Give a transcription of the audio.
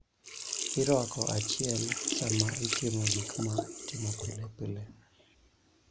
Irwako achiel sama itimo gik ma itimo pile pile.